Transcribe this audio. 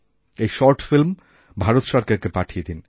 এই শর্টফিল্ম ভারত সরকারকে পাঠিয়ে দিন